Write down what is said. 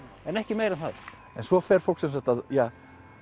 en ekki meira en það en svo fer fólk ja